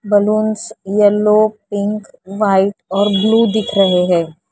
Balloons yellow pink white और blue दिख रहे हैं।